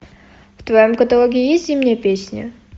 в твоем каталоге есть зимняя песня